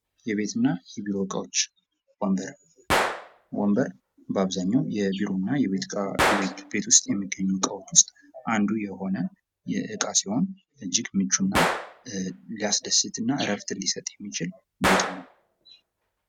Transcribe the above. "የቤትና የቢሮ እቃዎች, ወንበር ፦ወንበር በአብዛኛው ቢሮና የቤት እቃ ቤት ውስጥ የሚገኙ እቃዎች ውስጥ አንዱ የሆነ እቃ ሲሆን እጅግ ምቹና ሊያስደስትና እረፍት ሊሰጥ የሚችል ቦታ ነወ ።"